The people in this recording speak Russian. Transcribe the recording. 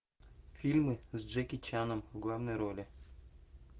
фильмы с джеки чаном в главной роли